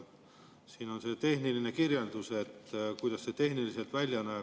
Siin on tehniline kirjeldus, kuidas see tehniliselt välja näeb.